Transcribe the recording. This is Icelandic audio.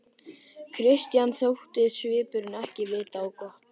Christian þótti svipurinn ekki vita á gott.